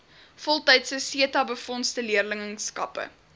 voltydse setabefondse leerlingskappe